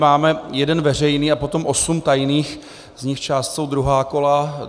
Máme jeden veřejný a potom osm tajných, z nichž část jsou druhá kola.